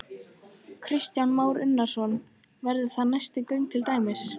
Kristján Már Unnarsson: Verða það næstu göng til dæmis?